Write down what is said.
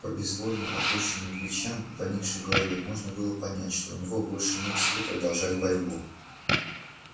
по безвольно опущенным плечам и поникшей голове можно было понять что у него больше нет сил продолжать борьбу